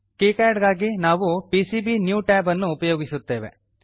KiCad ಗಾಗಿ ನಾವು PCB new tab ಅನ್ನು ಉಪಯೋಗಿಸುತ್ತೇವೆ